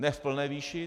Ne v plné výši.